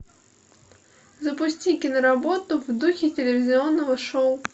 запусти киноработу в духе телевизионного шоу